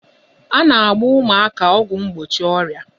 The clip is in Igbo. A na-agba ụmụaka ọgwụ mgbochi ọrịa